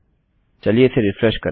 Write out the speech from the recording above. चलिए इसे रिफ्रेश करें